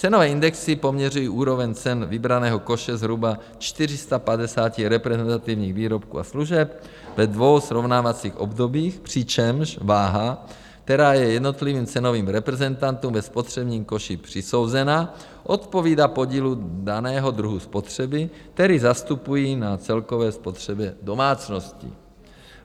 Cenové indexy poměřují úroveň cen vybraného koše zhruba 450 reprezentativních výrobků a služeb ve dvou srovnávacích obdobích, přičemž váha, která je jednotlivým cenovým reprezentantům ve spotřebním koši přisouzena, odpovídá podílu daného druhu spotřeby, který zastupují na celkové spotřebě domácností.